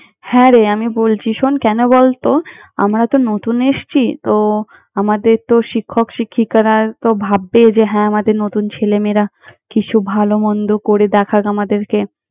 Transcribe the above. হ্যাঁ রে, আমি বলছি শোন, কেন বলত! আমরা তো নতুন এসছি, তো আমাদের তো শিক্ষক শিক্ষিকারা তো ভাববে যে হ্যাঁ আমাদের নতুন ছেলেমেয়েরা কিছু ভালো-মন্দ করে দেখাক আমাদেরকে।